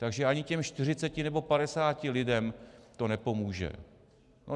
Takže ani těm 40 nebo 50 lidem to nepomůže.